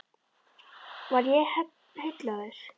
Var ég heillaður?